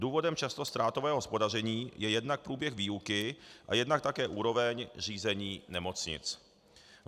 Důvodem často ztrátového hospodaření je jednak průběh výuky a jednak také úroveň řízení nemocnic.